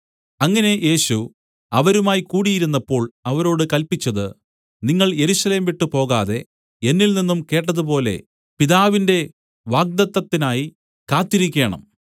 അങ്ങനെ യേശു അവരുമായി കൂടിയിരുന്നപ്പോൾ അവരോട് കല്പിച്ചത് നിങ്ങൾ യെരൂശലേം വിട്ട് പോകാതെ എന്നില്‍നിന്നും കേട്ടതുപോലെ പിതാവിന്റെ വാഗ്ദത്തത്തിനായി കാത്തിരിക്കേണം